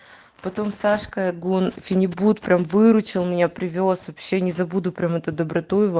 потом сашка гон фенибут прям выручила меня привёз вообще не забуду прямо эту доброту его